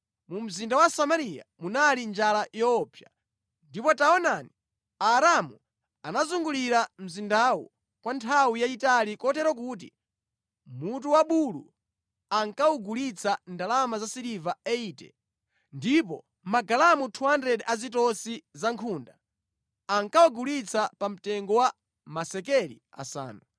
Mu mzinda wa Samariya munali njala yoopsa. Ndipo taonani, Aaramu anazungulira mzindawu kwa nthawi yayitali kotero kuti mutu wa bulu ankawugulitsa ndalama za siliva 80, ndipo magalamu 200 a zitosi za nkhunda ankawagulitsa pa mtengo wa masekeli asanu.